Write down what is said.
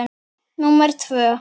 Númer tvö